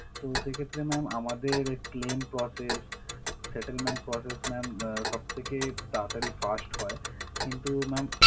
তো সেক্ষেত্রে ma'am আমাদের claim process, settlement process ma'am আহ সবথেকে তাড়াতাড়ি fast হয় কিন্তু ma'am